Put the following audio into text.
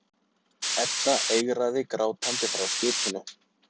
Edda eigraði grátandi frá skipinu.